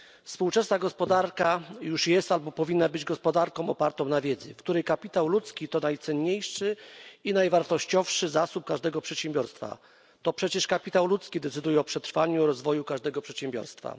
Współczesna gospodarka już jest albo powinna być gospodarką opartą na wiedzy, w której kapitał ludzki to najcenniejszy i najwartościowszy zasób każdego przedsiębiorstwa. To przecież kapitał ludzki decyduje o przetrwaniu i rozwoju każdego przedsiębiorstwa.